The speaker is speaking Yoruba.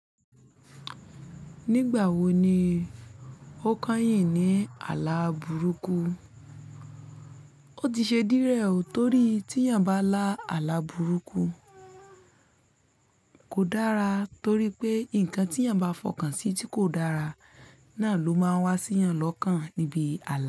Nígbà wo ni ó kányìn ní ààlà burúkú? Ó ti ṣe díẹ̀ rẹ̀ ò torí tí èèyàn bá lá ààlà burúkú kò dára torí pé nǹkan tí èèyàn bá fọkàn sí tí kò dára náà ló máa wá sí èèyàn lọ́kàn níbi ààlà.